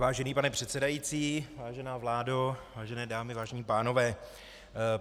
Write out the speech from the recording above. Vážený pane předsedající, vážená vládo, vážené dámy, vážení pánové.